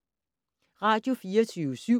Radio24syv